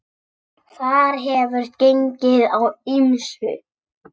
Þar hefur gengið á ýmsu.